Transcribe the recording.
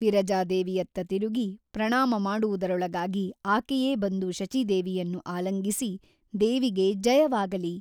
ವಿರಜಾದೇವಿಯತ್ತ ತಿರುಗಿ ಪ್ರಣಾಮ ಮಾಡುವುದರೊಳಗಾಗಿ ಆಕೆಯೇ ಬಂದು ಶಚೀದೇವಿಯನ್ನು ಆಲಿಂಗಿಸಿ ದೇವಿಗೆ ಜಯವಾಗಲಿ !